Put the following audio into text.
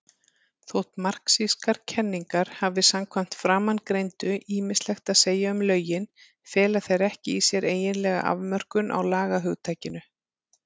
Þótt marxískar kenningar hafi samkvæmt framangreindu ýmislegt að segja um lögin, fela þær ekki í sér eiginlega afmörkun á lagahugtakinu.